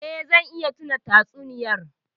Eh, zan iya tuna tatsuniyar.